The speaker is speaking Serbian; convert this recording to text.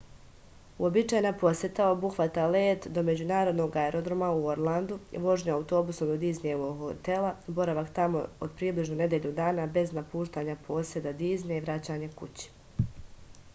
uobičajena poseta obuhvata let do međunarodnog aerodroma u orlandu vožnju autobusom do diznijevog hotela boravak tamo od približno nedelju dana bez napuštanja poseda diznija i vraćanje kući